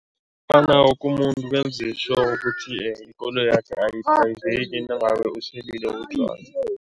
Woke umuntu benze sure ukuthi ikoloyakhe ayidrayiveki nangabe uselile utjwala.